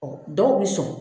Ɔ dɔw bɛ sɔn